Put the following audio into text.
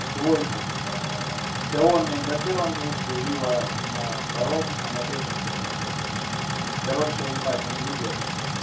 в двойку ксиоми на первом месте вива на втором а на третьем кто там не помню короче ебать они лидеры